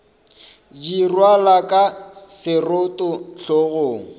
di rwalwa ka seroto hlogong